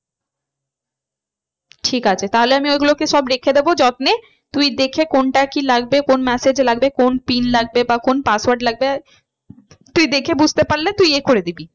ঠিক আছে তাহলে আমি ওই গুলোকে সব রেখে দেবো যত্নে। তুই দেখে কোনটা কি লাগবে কোন massage লাগবে কোন PIN লাগবে বা কোন password লাগবে তুই দেখে বুঝতে পারলে তুই এ করে দিবি।